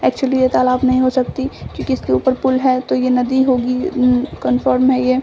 Actually ये तालाब नहीं हो सकती क्युकी इसके ऊपर पुल है तो ये नदी होगी उम कन्फर्म है ये।